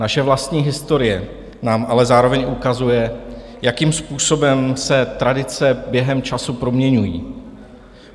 Naše vlastní historie nám ale zároveň ukazuje, jakým způsobem se tradice během času proměňují.